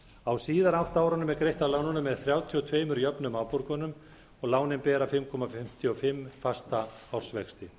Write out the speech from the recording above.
á síðari átta árunum er greitt af lánunum með þrjátíu og tvö jöfnum afborgunum lánin bera fimm komma fimmtíu og fimm prósent fasta ársvexti